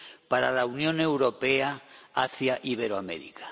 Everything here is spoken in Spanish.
para la Unión Europea hacia Iberoamérica.